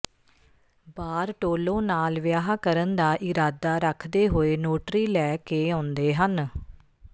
Bartolo ਨਾਲ ਵਿਆਹ ਕਰਨ ਦਾ ਇਰਾਦਾ ਰੱਖਦੇ ਹੋਏ ਨੋਟਰੀ ਲੈ ਕੇ ਆਉਂਦੇ ਹਨ